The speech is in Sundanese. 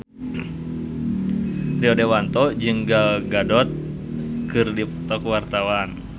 Rio Dewanto jeung Gal Gadot keur dipoto ku wartawan